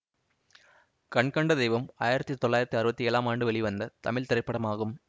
கண்கண்ட தெய்வம் ஆயிரத்தி தொள்ளாயிரத்தி அறுபத்தி ஏழாம் ஆண்டு வெளிவந்த தமிழ் திரைப்படமாகும்